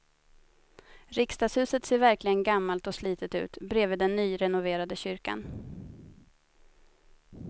Riksdagshuset ser verkligen gammalt och slitet ut bredvid den nyrenoverade kyrkan.